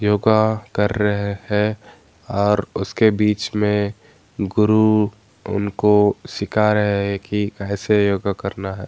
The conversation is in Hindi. योगा कर रहे है और उसके बीच मे गुरु उनको सीखा रहे है की कैसे योगा करना है।